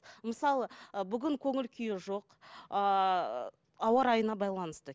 мысалы ы бүгін көңіл күйі жоқ ыыы ауа райына байланысты